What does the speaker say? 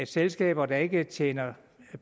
selskaber der ikke tjener